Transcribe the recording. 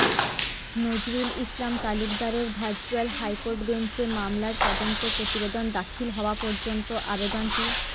নজরুল ইসলাম তালুকদারের virtual high court bench এ মামলার তদন্ত প্রতিবেদন দাখিল হওয়া পর্যন্ত আবেদনটি